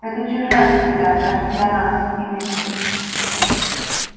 это чужая среда даже для нас иных